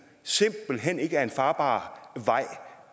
simpelt hen ikke er en farbar vej